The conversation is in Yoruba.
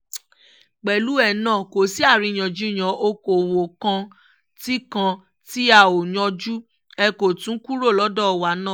pẹ̀lú ẹ náà kò sí àríyànjiyàn ọ̀kọ̀ọ̀wọ́ kan tí kan tí a ò yanjú ẹ̀ kó tóó kúrò lọ́dọ̀ wa